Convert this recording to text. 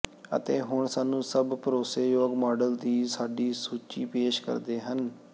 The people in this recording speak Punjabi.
ਅਤੇ ਹੁਣ ਸਾਨੂੰ ਸਭ ਭਰੋਸੇਯੋਗ ਮਾਡਲ ਦੀ ਸਾਡੀ ਸੂਚੀ ਪੇਸ਼ ਕਰਦੇ ਹਨ